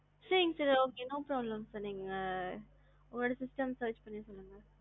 sir no problem நீங்க உங்க system ல search பண்ணி சொல்லுங்க.